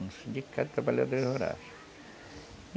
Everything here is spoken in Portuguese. no Sindicato de Trabalhadores Rurais